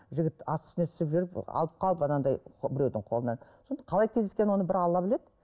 жігіт асты үстіне түсіп жүріп алып қалып анандай біреудің қолынан соны қалай кездескен оны бір алла біледі